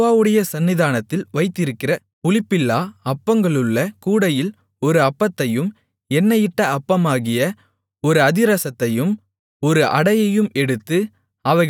யெகோவாவுடைய சந்நிதானத்தில் வைத்திருக்கிற புளிப்பில்லா அப்பங்களுள்ள கூடையில் ஒரு அப்பத்தையும் எண்ணெயிட்ட அப்பமாகிய ஒரு அதிரசத்தையும் ஒரு அடையையும் எடுத்து